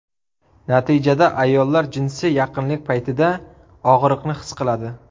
Natijada ayollar jinsiy yaqinlik paytida og‘riqni his qiladi.